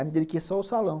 Aí, me dediquei só ao salão.